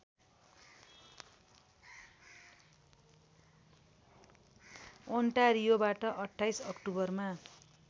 ओन्टारियोबाट २८ अक्टोबरमा